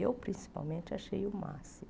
Eu, principalmente, achei o máximo.